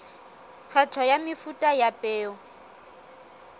kgetho ya mefuta ya peo